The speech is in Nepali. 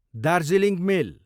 दार्जिलिङ मेल